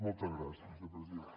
moltes gràcies vicepresident